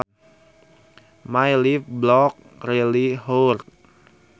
My left bollock really hurts